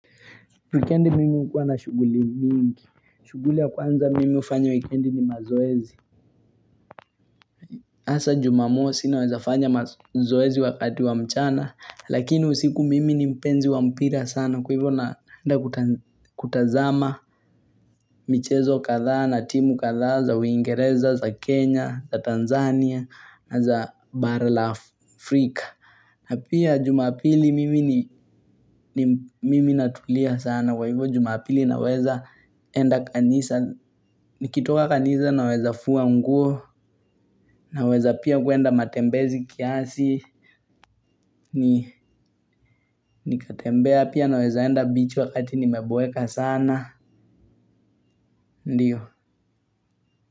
Wikendi mimi hukuwa na shughuli mingi. Shughuli ya kwanza mimi ufanya wikendi ni mazoezi. Hasa jumamosi naweza fanya mazoezi wakati wa mchana. Lakini usiku mimi ni mpenzi wa mpira sana. Kwa hivyo naenda kutazama michezo kadhaa na timu kadhaa za Uingereza, za Kenya, za Tanzania, na za Bara la Afrika. Na pia jumapili mimi natulia sana kwa hivyo jumapili naweza enda kanisa, nikitoka kanisa naweza fua nguo, naweza pia kuenda matembezi kiasi, nikitembea pia naweza enda beach wakati nimeboeka sana, ndiyo.